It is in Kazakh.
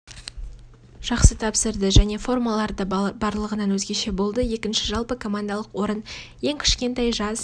жақсы тапсырды және формалары да барлығынан өзгеше болды екінші жалпы командалық орын ең кішкентай жас